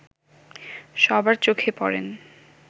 সবার চোখে পড়েন